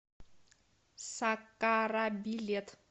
сакара билет